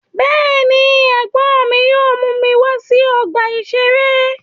Bẹ́ẹ̀ ni, ẹ̀gbọ́n mi yóò mú mi wá sí ọgbà-ìṣeré.